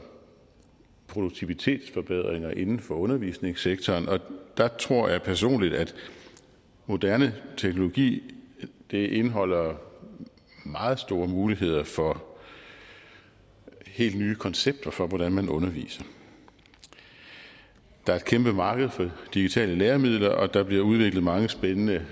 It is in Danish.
produktivitetsforbedringer inden for undervisningssektoren og der tror jeg personligt at moderne teknologi indeholder meget store muligheder for helt nye koncepter for hvordan man underviser der er et kæmpe marked for digitale læremidler og der bliver udviklet mange spændende